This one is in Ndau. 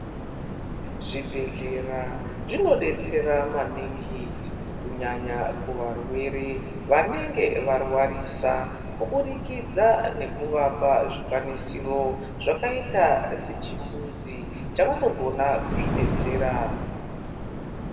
Zvibhedhlera zvinodetsera maningi kunyanya kuvarware vanenge varwarisa kuburikidza nekuvapa zvikwanisira zvakaita sechimbuzi chavanogona kuzvidetsera.